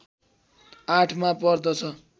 ८ मा पर्दछ